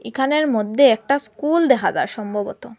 এখানের মধ্যে একটা স্কুল দেখা যায় সম্ভবত।